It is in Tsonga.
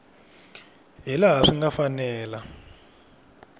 hi laha swi nga fanela